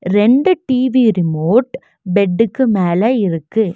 ரெண்டு TV remote பெட்டுக்கு மேல இருக்கு.